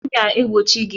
M ga-egbochi gị!